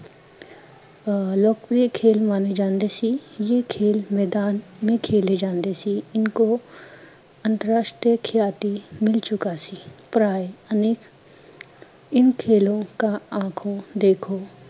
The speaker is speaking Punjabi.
ਆ ਲੋਕਪ੍ਰਿਯ ਖੇਲ ਮਾਂਨੇ ਜਾਂਦੇ ਸੀ, ਯੇ ਖੇਲ ਮੈਦਾਨ ਮੇ ਖੇਲੇ ਜਾਂਦੇ ਸੀ ਇਨਕੋ ਅੰਤਰਰਾਸ਼ਟਰੀ ਖਿਲਾਰੀ ਮਿਲ ਚੁੱਕਾ ਸੀ, ਪਰਾਏ ਅਨੇਕ ਇਨ ਖੇਲ ਕਾ ਆਖੋ ਦੇਖੋ